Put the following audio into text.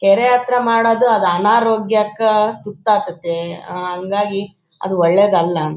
ಕೆರೆ ಹತ್ರ ಮಾಡೋದು ಅದು ಆನಾರೋಗ್ಯಕ್ಕೆ ತುತ್ತಾಗ್ತಾತ್ತೆ ಆಹ್ಹ್ಹ್ ಹಾಂಗಾಗಿ ಅದು ಒಳ್ಳೇದು ಅಲ್ಲ.